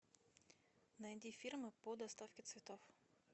найди фирму по доставке цветов